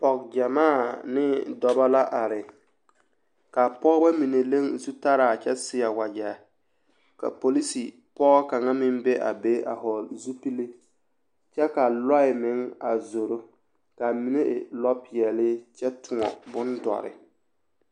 Pɔge gyɛmaa ne dɔbɔ la are k'a pɔgebɔ mine leŋ zutalaa kyɛ seɛ wagyɛre ka polisi pɔge kaŋa meŋ be a be a hɔɔle zupili kyɛ ka lɔɛ meŋ a zoro k'a mine e lɔpeɛle kyɛ tõɔ bondɔre.